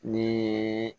Ni